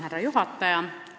Härra juhataja!